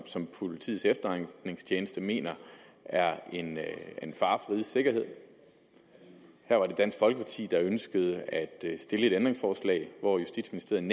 som politiets efterretningstjeneste mener er en fare for rigets sikkerhed her var det dansk folkeparti der ønskede at stille et ændringsforslag og justitsministeriet